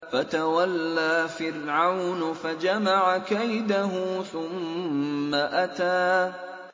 فَتَوَلَّىٰ فِرْعَوْنُ فَجَمَعَ كَيْدَهُ ثُمَّ أَتَىٰ